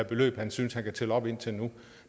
beløb han synes han kan tælle op indtil nu